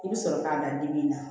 I bɛ sɔrɔ k'a da dimi na